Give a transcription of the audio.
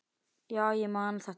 Já, ég man þetta allt.